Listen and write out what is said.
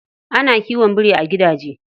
Ana kiwon biri a gidaje.